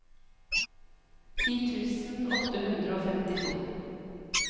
ti tusen åtte hundre og femtito